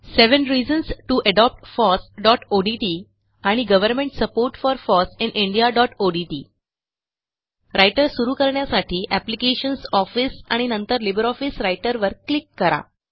seven reasons to adopt fossओडीटी आणि government support for foss in indiaओडीटी रायटर सुरू करण्यासाठी एप्लिकेशन्स ऑफिस आणि नंतर लिब्रिऑफिस राइटर वर क्लिक करा